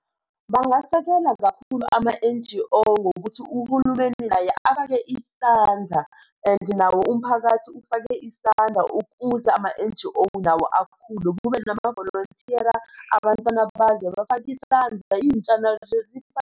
Bangasekela kakhulu ama-N_G_O ngokuthi uhulumeni naye afake isandla, and nawo umphakathi ufake isandla ukuze ama-N_G_O nawo akhule. Kube namavolonthiyera, abantwana bangene bafake isandla intsha nazo .